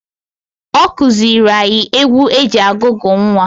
Ọ kụzịịlị anyị egwu e ji agụgụ nnwa.